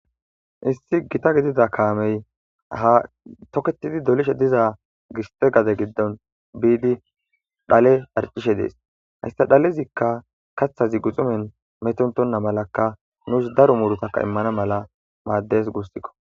Issi gita gidida kaamey ha toketidi dolishe diza giste gade giddon biidi dhale arcishe dees hissa dhalezikka kathazi guxumen metontonna malakka nuus daro murutakka immana mala maaddes guussikko.